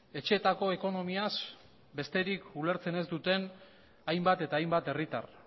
etxeetako ekonomiaz besterik ulertzen ez duten hainbat eta hainbat herritar